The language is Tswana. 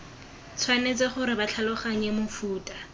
tshwanetse gore ba tlhaloganye mofuta